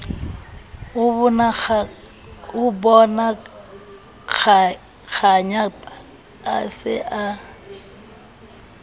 ho bonakganyapa a se a